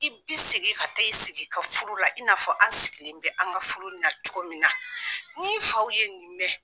I bi segin ka taa i sigi i ka furu la, i n'a fɔ an sigilen bɛ an ka furu nin na cogo min na. N'i faw ye nin mɛn .